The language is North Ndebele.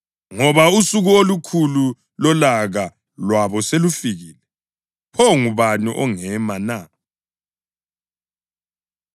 Ngoba usuku olukhulu lolaka lwabo selufikile, pho ngubani ongema na?”